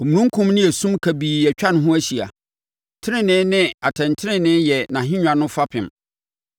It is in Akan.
Omununkum ne esum kabii atwa ne ho ahyia; tenenee ne atɛntenenee yɛ nʼahennwa no fapem.